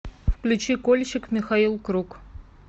включи кольщик михаил круг